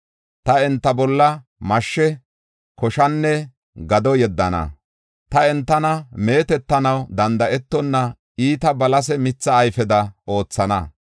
“Ta enta bolla mashshe, koshanne gado yeddana. Ta entana meetetanaw danda7etonna iitida balase mitha ayfeda oothana.